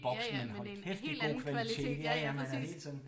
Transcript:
Ja ja men en helt anden kvalitet ja ja præcis